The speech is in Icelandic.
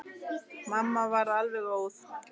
Mamma varð alveg óð.